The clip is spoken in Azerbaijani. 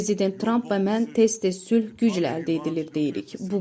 Prezident Tramp və mən tez-tez sülh güclə əldə edilir deyirik.